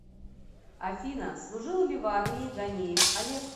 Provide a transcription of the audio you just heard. афина служил ли в армии ганеев олег